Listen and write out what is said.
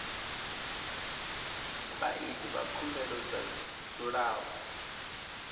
vhaiti vha khumbelo vha dzulaho